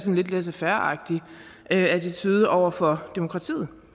en lidt laissez faire agtig attitude over for demokratiet